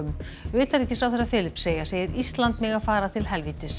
utanríkisráðherra Filippseyja segir Ísland mega fara til helvítis